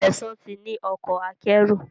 Sesan tí ní Ọkọ̀ akẹ́rù.